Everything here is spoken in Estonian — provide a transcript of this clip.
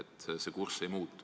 Aitäh teile selle küsimuse eest!